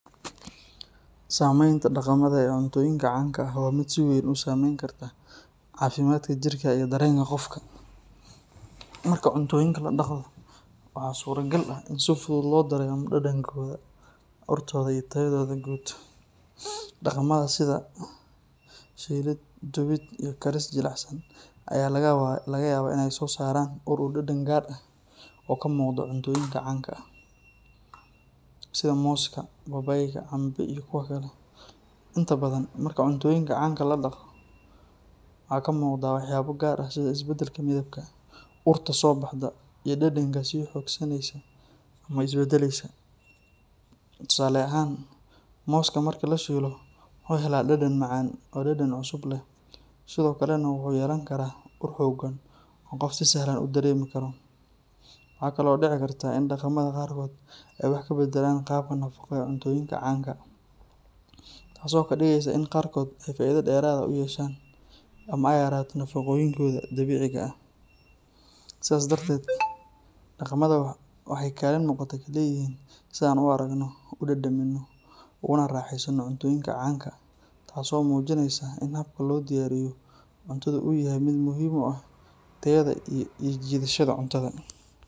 Samaynta daqamada ee cuntooyinka canka waa mid si weyn u saameyn karta caafimaadka jirka iyo dareenka qofka. Marka cuntooyinka la daqado, waxaa suuragal ah in si fudud loo dareemo dhadhankooda, urtooda, iyo tayadooda guud. Daqamada sida shiilid, dubid, iyo karis jilicsan ayaa laga yaabaa in ay soo saaraan ur iyo dhadhan gaar ah oo ka muuqda cuntooyinka canka, sida mooska, babaayga, cambe, iyo kuwo kale. Inta badan, marka cuntooyinka canka la daqado, waxaa ka muuqda waxyaabo gaar ah sida isbedelka midabka, urta soo baxda, iyo dhadhanka sii xoogeysanaya ama iska beddelaya. Tusaale ahaan, mooska marka la shiilo wuxuu helaa dhadhan macaan oo dhadhan cusub leh, sidoo kalena wuxuu yeelan karaa ur xooggan oo qof si sahlan u dareemi karo. Waxaa kale oo dhici karta in daqamada qaarkood ay wax ka beddelaan qaabka nafaqo ee cuntooyinka canka, taas oo ka dhigaysa in qaarkood ay faa’iido dheeraad ah u yeeshaan ama ay yaraato nafaqooyinkooda dabiiciga ah. Sidaas darteed, daqamada waxay kaalin muuqata ku leeyihiin sida aan u aragno, u dhadhamino, uguna raaxaysano cuntooyinka canka, taasoo muujinaysa in habka loo diyaariyo cuntadu uu yahay mid muhiim u ah tayada iyo soo jiidashada cuntada.